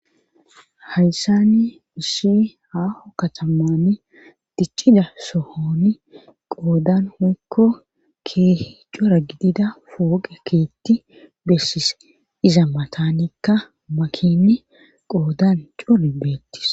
Hayssani issi aaho katamani diccida sohooni qoodan keehi daro gidida pooqe keetti bessis iza matanikka makiini qoodan cori beettis.